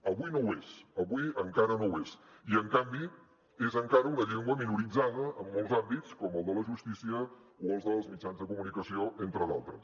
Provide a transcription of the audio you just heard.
avui no ho és avui encara no ho és i en canvi és encara una llengua minoritzada en molts àmbits com el de la justícia o el dels mitjans de comunicació entre d’altres